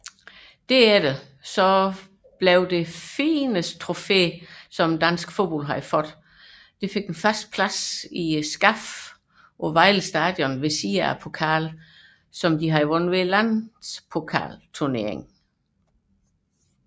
Dermed fik dansk fodbolds fornemste trofæ fast plads i pokalskabet på Vejle Stadion ved siden af pokalen for landspokalturneringen